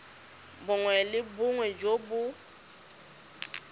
bongwe le bongwe jo bo